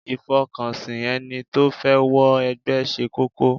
Ìfọkànsìn ẹni tó fẹ́ wọ ẹgbẹ́ ṣe kókó.